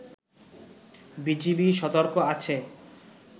BGB সতর্ক আছে